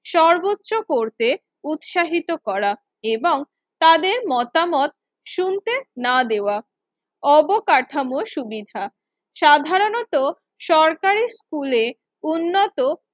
সর্বোচ্চ করতে উৎসাহিত করা এবং তাদের মতামত শুনতে না দেওয়া। অবকাঠামো সুবিধা সাধারনত সরকারি স্কুলে উন্নত